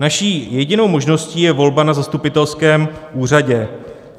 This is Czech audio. Naší jedinou možností je volba na zastupitelském úřadě.